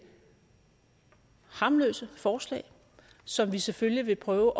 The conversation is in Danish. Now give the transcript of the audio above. harmløse forslag som vi selvfølgelig vil prøve